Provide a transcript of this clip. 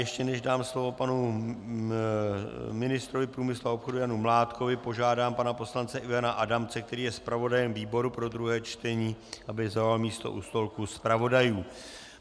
Ještě než dám slovo panu ministrovi průmyslu a obchodu Janu Mládkovi, požádám pana poslance Ivana Adamce, který je zpravodajem výboru pro druhé čtení, aby zaujal místo u stolku zpravodajů.